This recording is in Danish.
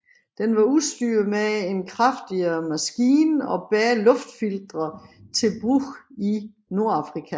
Den var udstyret med en kraftigere maskine og bedre luftfiltre til brug i Nordafrika